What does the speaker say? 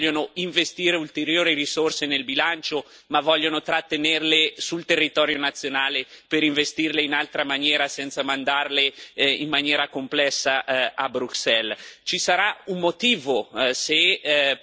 Dobbiamo domandarci perché gli Stati membri non vogliono investire ulteriori risorse nel bilancio ma vogliono trattenerle sul territorio nazionale per investirle in altra maniera, senza mandarle in maniera complessa a Bruxelles.